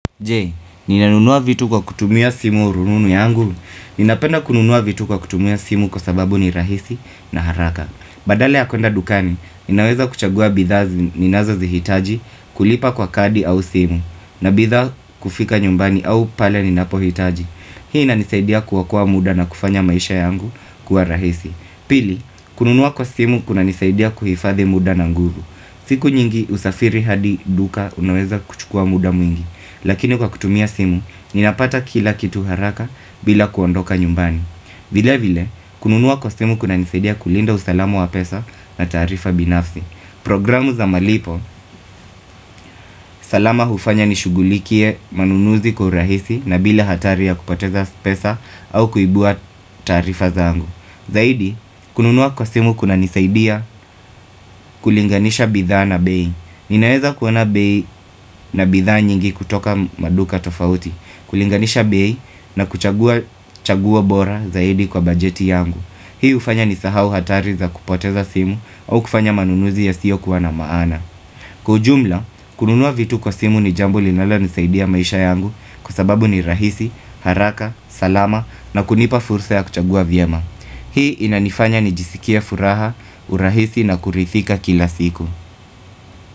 Je, ninanunua vitu kwa kutumia simu rununu yangu? Ninapenda kununua vitu kwa kutumia simu kwa sababu ni rahisi na haraka. Badala ya kwenda dukani, ninaweza kuchagua bidhaa ninazo zihitaji kulipa kwa kadi au simu. Na bidhaa kufika nyumbani au pale ninapo hitaji. Hii nanizaidia kuokoa muda na kufanya maisha yangu kuwa rahisi. Pili, kununua kwa simu kuna nizaidia kuhifadhi muda na nguvu. Siku nyingi usafiri hadi duka unaweza kuchukua muda mwingi. Lakini kwa kutumia simu, ninapata kila kitu haraka bila kuondoka nyumbani vile vile, kununua kwa simu kuna nizaidia kulinda usalamu wa pesa na taarifa binafsi Programu za malipo, salama hufanya nishugulikie manunuzi kwa urahisi na bila hatari ya kupoteza pesa au kuibua taarifa zangu. Zaidi, kununuwa kwa simu kuna nizaidia kulinganisha bidhaa na bei Ninaeza kuona bei na bidhaa nyingi kutoka maduka tofauti kulinganisha bei na kuchagua bora zaidi kwa bajeti yangu. Hii ufanya ni sahau hatari za kupoteza simu au kufanya manunuzi ya siyo kuwa na maana. Kwa ujumla, kununua vitu kwa simu ni jambo linalonisaidia maisha yangu Kwa sababu ni rahisi, haraka, salama na kunipa fursa ya kuchagua vyema. Hii inanifanya ni jisikia furaha, urahisi na kuridhika kila siku.